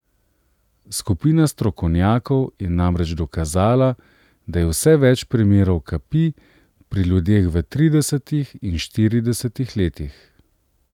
Skupina strokovnjakov je namreč dokazala, da je vse več primerov kapi pri ljudeh v tridesetih in štiridesetih letih.